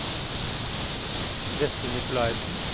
Vetle Nikolaisen